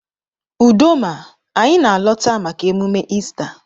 Udoma anyi na alọta maka emume Ista.